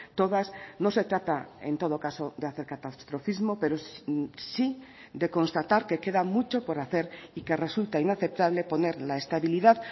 todas no se trata en todo caso de hacer catastrofismo pero sí de constatar que queda mucho por hacer y que resulta inaceptable poner la estabilidad